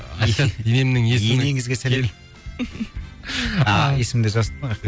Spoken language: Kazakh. енемнің есімі енеңізге сәлем ааа есімінде жазыпты ғой рахмет